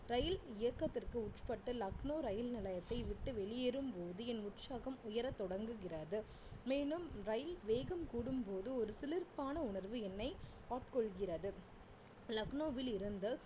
ரயில் இயக்கத்திற்கு உட்பட்ட லக்னோ ரயில் நிலையத்தை விட்டு வெளியேறும்போது என் உற்சாகம் உயரத் தொடங்குகிறது மேலும் ரயில் வேகம் கூடும்போது ஒரு சிலிர்ப்பான உணர்வு என்னை ஆட்கொள்கிறது லக்னோவில் இருந்து